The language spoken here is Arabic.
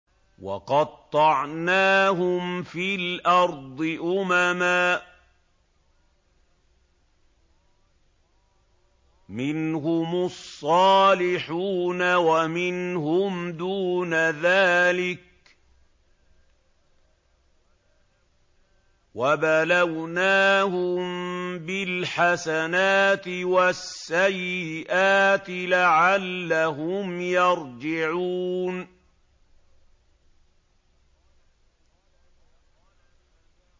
وَقَطَّعْنَاهُمْ فِي الْأَرْضِ أُمَمًا ۖ مِّنْهُمُ الصَّالِحُونَ وَمِنْهُمْ دُونَ ذَٰلِكَ ۖ وَبَلَوْنَاهُم بِالْحَسَنَاتِ وَالسَّيِّئَاتِ لَعَلَّهُمْ يَرْجِعُونَ